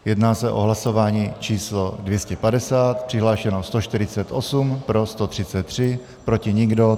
Jedná se o hlasování číslo 250, přihlášeno 148, pro 133, proti nikdo.